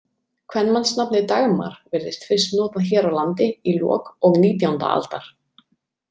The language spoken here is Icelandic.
Kvenmannsnafnið Dagmar virðist fyrst notað hér á landi í lok og nítjánda aldar.